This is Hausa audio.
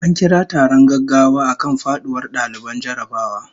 A kira taron gaggawa akan faduwar daliban jarrabawa